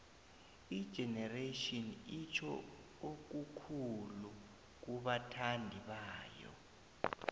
igeneration itjho okukhulu kubathandi bayo